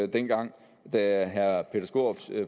dengang da herre peter skaarups